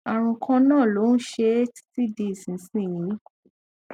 àrùn kan náà ló ń ṣe é títí di ìsinsìnyí